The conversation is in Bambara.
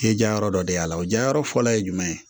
I ye ja yɔrɔ dɔ de y'a la o jayɔrɔ fɔlɔ ye jumɛn ye